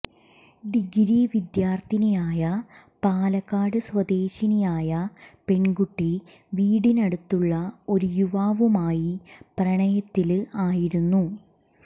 degree വിദ്യാര്ത്ഥിനിയായ പാലക്കാട് സ്വദേശിനിയായ പെണ്കുട്ടി വീടിനടുത്തുള്ള ഒരു യുവാവുമായി പ്രണയത്തില് ആയിരുന്നു